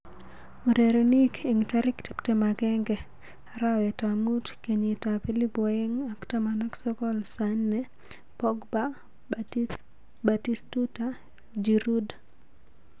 Urerenik eng tarik tiptem agenge arawet ab mut kenyit ab elipu aeng ak taman ak sokol, Sane, Pogba, Batistuta, Giroud.